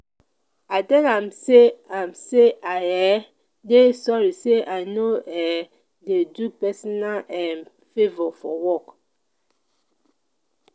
i tell am sey am sey i um dey sorry sey i no um dey do personal um fovours for work.